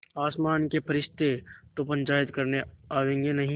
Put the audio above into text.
आसमान के फरिश्ते तो पंचायत करने आवेंगे नहीं